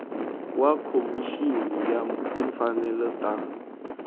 wa khomixini ya timfanelo ta